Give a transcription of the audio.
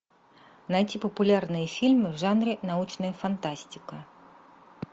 найти популярные фильмы в жанре научная фантастика